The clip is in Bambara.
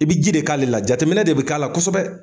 I bɛ ji de k'ale la jateminɛ de bi k'a la kosɛbɛ.